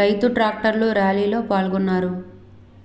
రైతు ట్రాక్టర్ల ర్యాలీలో పాల్గొన్నారు